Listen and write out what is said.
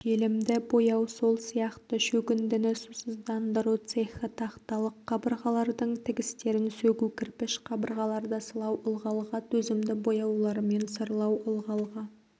желімді бояу сол сияқты шөгіндіні сусыздандыру цехі тақталық қабырғалардың тігістерін сөгу кірпіш қабырғаларды сылау ылғалға төзімді бояулармен сырлау ылғалға